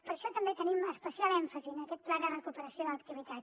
per això també tenim especial èmfasi en aquest pla de recuperació de l’activitat